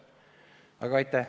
Aga aitäh!